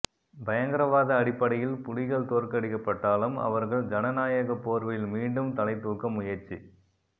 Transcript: பயங்கரவாத அடிப்படையில் புலிகள் தோற்கடிக்கப்பட்டாலும் அவர்கள் ஜனநாயக போர்வையில் மீண்டும் தலைதூக்க முயற்சி